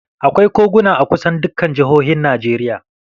Akwai koguna a kusan dukkan jihohin Najeriya